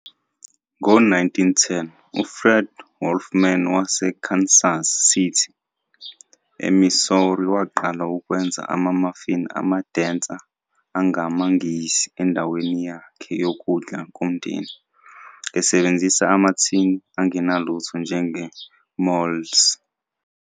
Ngo-1910, uFred Wolferman waseKansas City, eMissouri waqala ukwenza ama-muffin ama-denser angamaNgisi endaweni yakhe yokudla komndeni, esebenzisa amathini angenalutho njenge-molds.